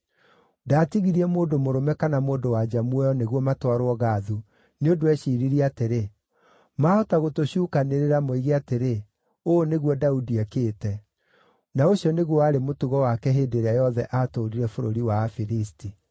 Ndaatigirie mũndũ mũrũme kana mũndũ-wa-nja muoyo nĩguo matwarwo Gathu, nĩ ũndũ eeciiririe atĩrĩ, “Maahota gũtũcuukanĩrĩra moige atĩrĩ, ‘Ũũ nĩguo Daudi ekĩte.’ ” Na ũcio nĩguo warĩ mũtugo wake hĩndĩ ĩrĩa yothe aatũũrire bũrũri wa Afilisti.